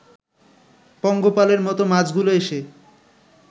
পঙ্গপালের মতো মাছগুলো এসে